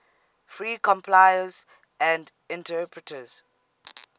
free compilers and interpreters